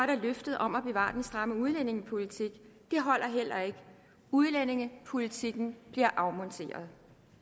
der løftet om at bevare den stramme udlændingepolitik det holder heller ikke udlændingepolitikken bliver afmonteret